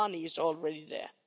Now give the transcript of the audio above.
is already there.